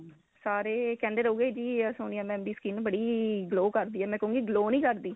ਸਾਰੇ ਕਹਿੰਦੇ ਰਹੁਗੇ ਵੀ ਸੋਨੀਆ mam ਦੀ skin ਬੜੀ glow ਕਰਦੀ ਏ ਮੈਂ ਕਹੂੰਗੀ glow ਨਹੀਂ ਕਰਦੀ